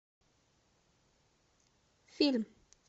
фильм